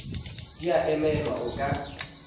di a emelwa o ka